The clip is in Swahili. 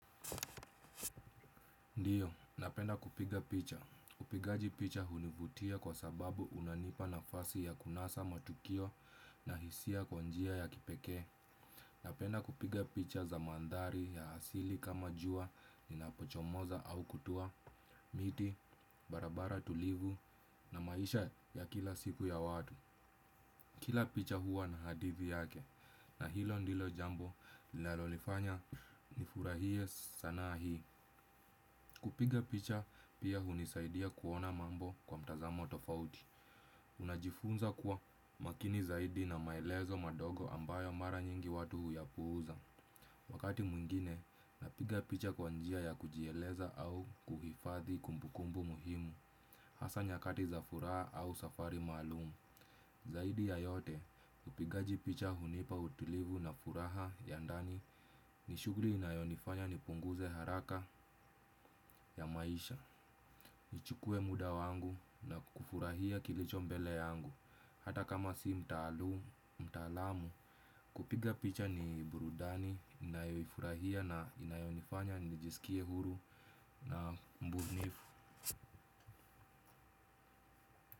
Ndiyo, napenda kupiga picha. Upigaji picha hunivutia kwa sababu unanipa nafasi ya kunasa matukio na hisia kwa njia ya kipekee. Napenda kupiga picha za mandhari ya asili kama jua linapochomoza au kutua, miti, barabara tulivu na maisha ya kila siku ya watu. Kila picha huwa na hadithi yake na hilo ndilo jambo linalo nifanya nifurahie sanaa hii. Kupiga picha, pia hunisaidia kuona mambo kwa mtazamo tofauti. Unajifunza kuwa makini zaidi na maelezo madogo ambayo mara nyingi watu huyapuuza. Wakati mwingine, napiga picha kwa njia ya kujieleza au kuhifadhi kumbukumbu muhimu. Hasa nyakati za furaha au safari maalum. Zaidi ya yote, upigaji picha hunipa utulivu na furaha ya ndani ni shughuli inayonifanya ni punguze haraka ya maisha. Nichukue muda wangu na kufurahia kilicho mbele yangu. Hata kama si mtaalum, mtaalamu kupiga picha ni burudani, ninayoifurahia na inayonifanya, nijisikie huru na mbunifu.